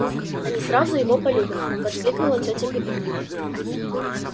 они сразу его полюбят воскликнула тётя петунья